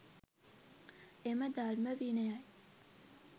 එම ධර්ම විනයයි